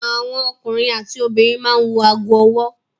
Àwọn ọkùnrin àti obìnrin máa ń wọ ago-ọwọ́.